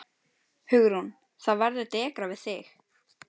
Hugrún: Það verður dekrað við þig?